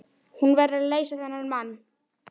Hún verður að leysa þennan mann.